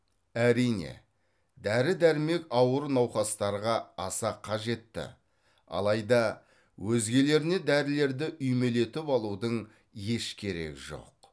әрине дәрі дәрмек ауыр науқастарға аса қажетті алайда өзгелеріне дәрілерді үймелетіп алудың еш керегі жоқ